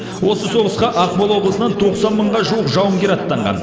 осы соғысқа ақмола облысынан тоқсан мыңға жуық жауынгер аттанған